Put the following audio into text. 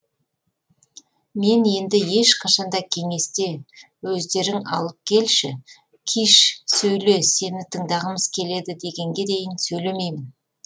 мен енді ешқашан да кеңесте өздерің маған келіп киш сөйле сені тыңдағымыз келеді дегенге дейін сөйлемеймін